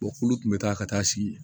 kolo tun bɛ taa ka taa sigi